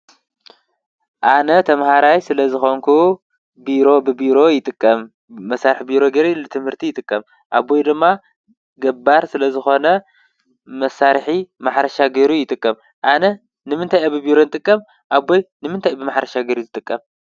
ኣነ ተማህራይ ስለ ዝኮንኩ ቢሮ ብቢሮ ይጥቀም። መሳርሒ ቢሮ ንትምህርቲ ይጥቀም ።ኣቦይ ድማ ገባር ስለ ዝኮነ መሳርሒ ማሕረሻ ገይሩ ይጥቀም። ኣነ ንምንታይ እየ ብቢሮ ዝጥቀም? ኣቦይ ንምንታይ እዩ ብማሕረሻ ገይሩ ዝጥቀም?